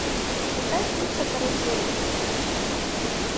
поставь пицца карусель